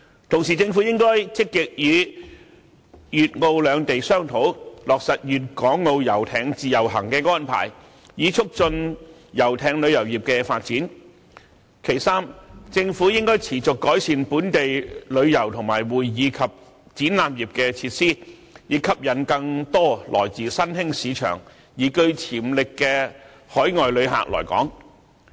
同時，政府應該積極與粵澳兩地商討，落實粵港澳遊艇"自由行"的安排，以促進遊艇旅遊業的發展；三、政府應該持續改善本地旅遊和會議及展覽業的設施，以吸引更多來自新興市場而具潛力的海外旅客來港。